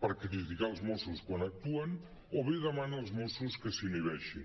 per criticar els mossos quan actuen o bé demana els mossos que s’inhibeixin